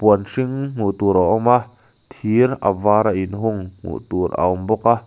huan hring hmuh tur a awm a thir a vara inhung hmuh tur a awm bawk a.